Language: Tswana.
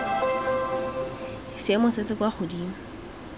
seemo se se kwa godimo